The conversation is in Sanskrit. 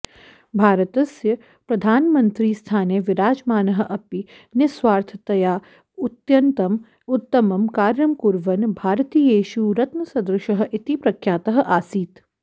भारतस्य प्रधानमन्त्रिस्थाने विराजमानः अपि निःस्वार्थतया उत्यन्तम् उत्तमं कार्यं कुर्वन् भारतीयेषु रत्नसदृशः इति प्रख्यातः आसीत्